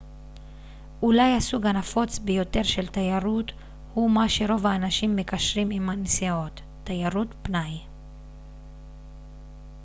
אולי הסוג הנפוץ ביותר של תיירות הוא מה שרוב האנשים מקשרים עם נסיעות תיירות פנאי